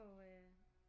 Og øh